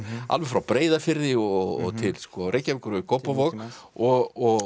alveg frá Breiðafirði og til Reykjavíkur og í Kópavog og